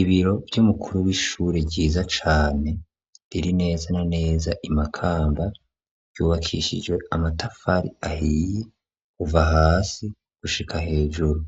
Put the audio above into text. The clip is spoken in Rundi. Ibiro vy’umukuru wishure ryiza cane biri neza na neza i Makamba ry'ubakishijwe amatafari ahiye kuva hasi gushika hejuru